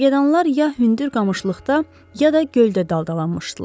Kərgədanlar ya hündür qamışlıqda, ya da göldə daldalanmışdılar.